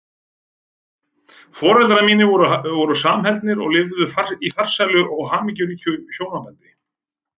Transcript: Foreldrar mínir voru samhentir og lifðu í farsælu og hamingjuríku hjónabandi.